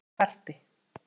Hættum þessu karpi